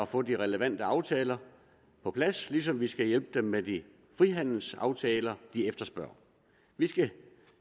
få de relevante aftaler på plads ligesom vi skal hjælpe dem med de frihandelsaftaler de efterspørger vi skal